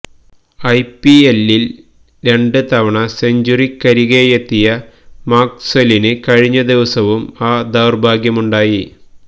I P എല്ലില് രണ്ട് തവണ സെഞ്ച്വറിക്കരികെയെത്തിയ മാക്സ്വെലിന് കഴിഞ്ഞ ദിവസവും ആ ദൌര്ഭാഗ്യമുണ്ടായി